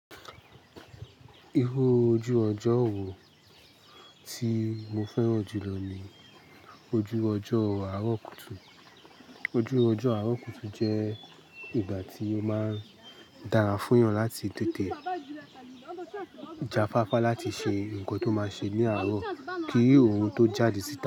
Irú ojú ọjọ́ wò tí mo fẹ́ràn jù lọ ni ojú ọjọ́ àárọ̀ kùtù. Ojú ọjọ́ àárọ̀ kùtù jẹ́ ìgbà tí ó máa dára fún èèyàn láti tètè jáfáfá láti ṣe nǹkan tó máa ṣe ní àárọ̀ kí òun tó jáde síta.